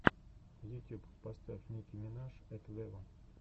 ютюб поставь ники минаж эт вево